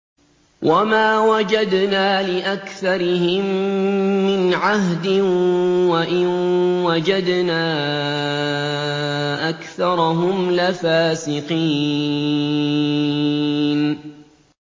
وَمَا وَجَدْنَا لِأَكْثَرِهِم مِّنْ عَهْدٍ ۖ وَإِن وَجَدْنَا أَكْثَرَهُمْ لَفَاسِقِينَ